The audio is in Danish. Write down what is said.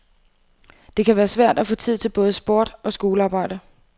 Det kan være svært at få tid til både sport og skolearbejde.